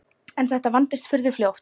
En þetta vandist furðu fljótt.